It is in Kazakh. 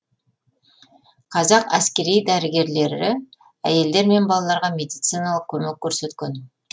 қазақ әскери дәрігерлері әйелдер мен балалаларға медициналық көмек көрсеткен